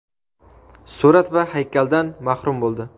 surat va haykaldan mahrum bo‘ldi.